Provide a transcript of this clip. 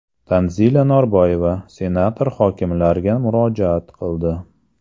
Tanzila Norboyeva senator-hokimlarga murojaat qildi.